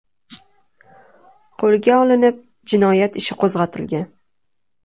qo‘lga olinib, jinoyat ishi qo‘zg‘atilgan.